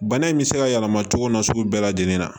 Bana in bɛ se ka yɛlɛma cogo min na sugu bɛɛ lajɛlen na